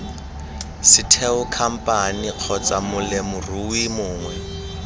setheo khamphane kgotsa molemirui mongwe